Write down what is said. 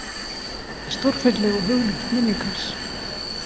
Blessuð sé stórfengleg og hugljúf minning hans.